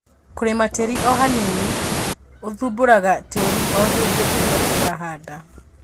Kũrĩma tĩri ohanini, ũthumburaga tĩri ohindĩ ĩrĩa ũrahanda.